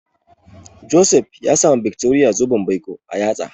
Joseph ya sa ma Victoria zoben baiko a yatsa.